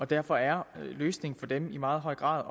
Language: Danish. derfor er løsningen for dem i meget høj grad